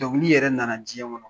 Dɔnkili yɛrɛ nana jɛn kɔnɔ